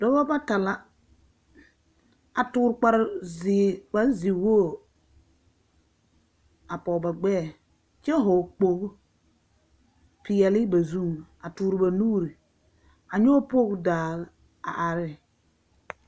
Dɔbɔ bata la a toor kparzeer kparzewoo a pɔge ba gbɛɛ, kyɛ hɔɔ kpogu peɛle ba zuŋ. A toor ba nuur a nyɔge pool daa a are.